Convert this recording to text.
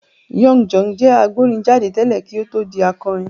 Young John jẹ́ agbórin jáde tẹ́lẹ̀ kí ó tó di akọrin.